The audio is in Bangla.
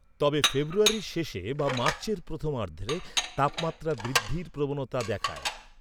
তবে ফেব্রুয়ারির শেষে বা মার্চের প্রথমার্ধে তাপমাত্রা বৃদ্ধির প্রবণতা দেখায়।